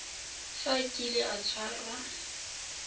fa a kile a tshwarwa